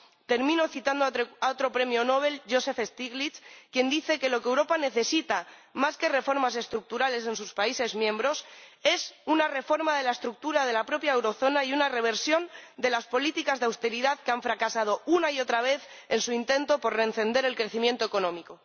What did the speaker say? Termino citando a otro premio Nobel, Joseph Stiglitz, quien dice que lo que Europa necesita, más que reformas estructurales en sus países miembros, es una reforma de la estructura de la propia eurozona y una reversión de las políticas de austeridad que han fracasado una y otra vez en su intento por reencender el crecimiento económico.